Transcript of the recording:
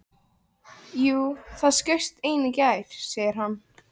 Jú, það skaust ein í gær, segir hann.